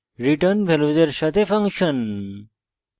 return ভ্যালুসের সাথে function